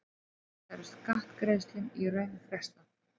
Við þetta er skattgreiðslum í raun frestað.